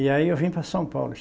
E aí eu vim para São Paulo.